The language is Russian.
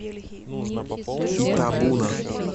итабуна